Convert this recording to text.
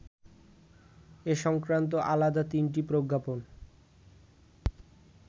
এ সংক্রান্ত আলাদা তিনটি প্রজ্ঞাপন